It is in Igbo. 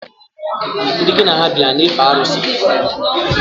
Ndị ngi na ha bi, ha ana efe arusi?